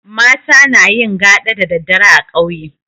Mata nayin gaɗa da daddare a ƙauye